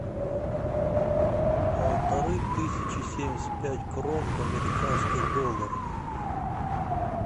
полторы тысячи семьдесят пять крон в американских долларах